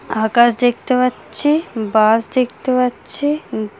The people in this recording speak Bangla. আকাশ দেখতে পাচ্ছি | বাস দেখতে পাচ্ছি। উম --